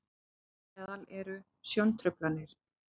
þar á meðal eru sjóntruflanir